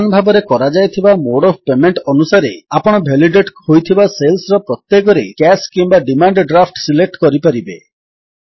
ସମାନ ଭାବରେ କରାଯାଇଥିବା ମୋଡ୍ ଅଫ୍ ପେମେଣ୍ଟ ଅନୁସାରେ ଆପଣ ଭେଲିଡେଟ୍ ହୋଇଥିବା ସେଲ୍ସର ପ୍ରତ୍ୟେକରେ କ୍ୟାଶ କିମ୍ୱା ଡିମାଣ୍ଡ ଡ୍ରାଫ୍ଟ ସିଲେକ୍ଟ କରିପାରିବେ